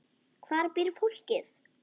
Hvar býr fólkið?